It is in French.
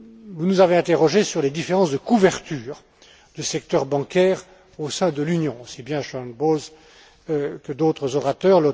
Vous nous avez interrogés sur les différences de couverture du secteur bancaire au sein de l'Union, aussi bien Sharon Bowles que d'autres orateurs.